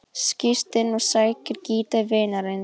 Skýst inn og sækir gítar vinarins.